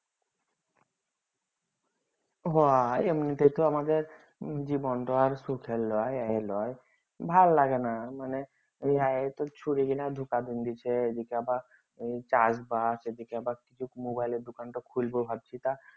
সহ এমনিতে তো আমাদের জীবনটা আর সুখের লই এ লই ভাল লাগেনা মানে এইদিগে আবার Mobile দোকানটা খুলবো ভাবছি তা